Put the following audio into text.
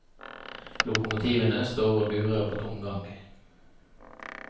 Lokomotivene står og durer på tomgang.